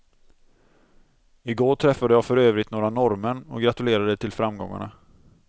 I går träffade jag för övrigt några norrmän och gratulerade till framgångarna.